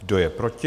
Kdo je proti?